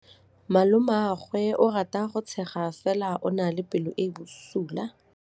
Malomagwe o rata go tshega fela o na le pelo e e bosula.